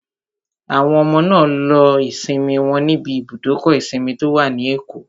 Àwọn ọmọ náà lo ìsinmi wọn níbi ibùdókọ̀ ìsinmi tó wà ní Èkó